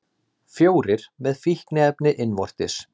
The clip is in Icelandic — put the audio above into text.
Fjórir með fíkniefni innvortis